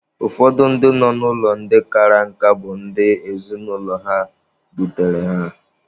Ụfọdụ ndị nọ n'ụlọ ndị kara nka bụ ndị ezinụlọ ha dutere ha.